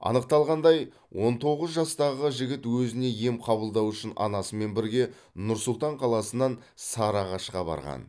анықталғандай он тоғыз жастағы жігіт өзіне ем қабылдау үшін анасымен бірге нұр сұлтан қаласынан сарыағашқа барған